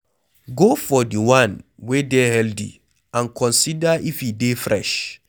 go for di one wey dey healthy and consider if e dey fresh